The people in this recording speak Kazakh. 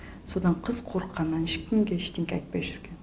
содан қыз қорыққанынан ешкімге ештеңке айтпай жүрген